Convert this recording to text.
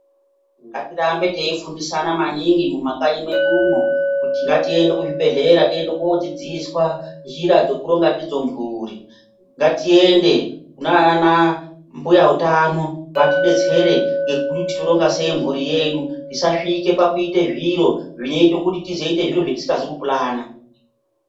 Ngatirambe teifundisa na maningi mumakanyi mwedumwo kuti ngatiende kuzvibhedhlera tiende koodzidziswa njira dzekuronga ndidzo mhuri ngatiende kunana mbuya utano vatidetsere zvekuti toronga sei mhuri yedu tisasvike pakuite zviro zvinoite kuti tizeite zviro zvetisikazi kupulana.